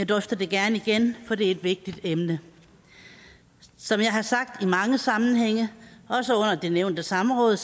drøfter det gerne igen for det er et vigtigt emne som jeg har sagt i mange sammenhænge også under det nævnte samråd